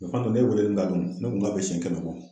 O kuma ne walen n da dɔɔnin ne ko n k'a bɛ si kɛnɛ ma.